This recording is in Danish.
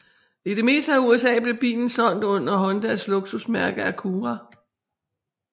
I det meste af USA blev bilen solgt under Hondas luksusmærke Acura